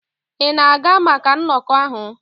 Ị na-aga maka nnọkọ ahụ?